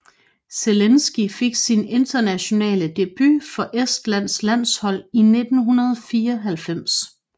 Zelinski fik sin internationale debut for Estlands landshold i 1994